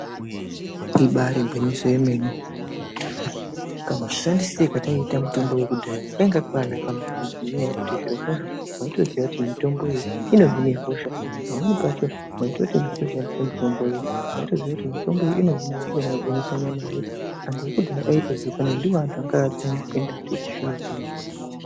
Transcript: Ibari gwinyiso yemene kamushandisiro katinoita mitombo yakadhaya kanga kakanaka maningi. Ngenyaya yekuti zvirokwazvo maitoziya kuti mitombo iyi inohina hosha, pamweni pacho vaitoti uito shandise mitomboyo vaitoziya kuti mitombo iyi inohina hosha inogwinyise nyama nhete. Antu akudhaya aitozikanwa kuti ndivo akaginya kudarika echizvino-zvino.